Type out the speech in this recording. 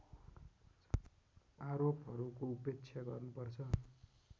आरोपहरूको उपेक्षा गर्नुपर्छ